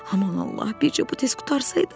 Aman Allah, bircə bu tez qurtarsaydı.